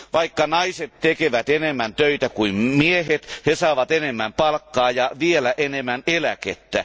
Vaikka naiset tekevät enemmän töitä kuin miehet, miehet saavat enemmän palkkaa ja vielä enemmän eläkettä.